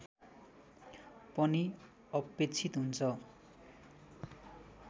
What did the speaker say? पनि अपेक्षित हुन्छ